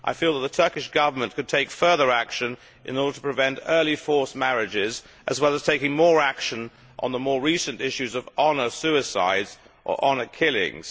I feel that the Turkish Government could take further action in order to prevent early forced marriages, as well as taking more action on the more recent issues of honour suicides or honour killings.